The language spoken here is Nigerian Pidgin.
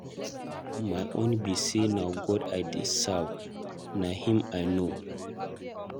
My own be say na God I dey serve, na him I know.